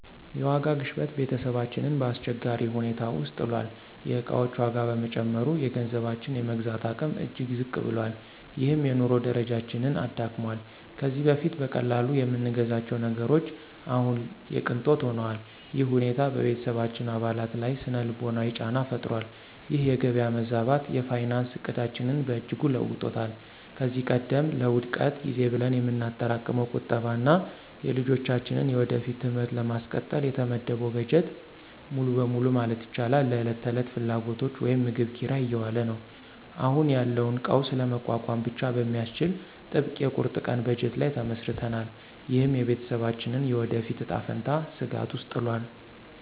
የዋጋ ግሽበት ቤተሰባችንን በአስቸጋሪ ሁኔታ ውስጥ ጥሏል። የዕቃዎች ዋጋ በመጨመሩ፣ የገንዘባችን የመግዛት አቅም እጅግ ዝቅ ብሏል፤ ይህም የኑሮ ደረጃችንን አዳክሟል። ከዚህ በፊት በቀላሉ የምንገዛቸው ነገሮች አሁን የቅንጦት ሆነዋል። ይህ ሁኔታ በቤተሰባችን አባላት ላይ ሥነ-ልቦናዊ ጫና ፈጥሯል። ይህ የገበያ መዛባት የፋይናንስ ዕቅዳችንን በእጅጉ ለውጦታል። ከዚህ ቀደም ለውድቀት ጊዜ ብለን የምናጠራቅመው ቁጠባ እና የልጆቻችንን የወደፊት ትምህርት ለማስቀጠል የተመደበው በጀት ሙሉ በሙሉ ማለት ይቻላል ለዕለት ተዕለት ፍላጎቶች (ምግብ፣ ኪራይ) እየዋለ ነው። አሁን ያለውን ቀውስ ለመቋቋም ብቻ በሚያስችል ጥብቅ የቁርጥ ቀን በጀት ላይ ተመስርተናል። ይህም የቤተሰባችንን የወደፊት እጣ ፈንታ ስጋት ውስጥ ጥሏል።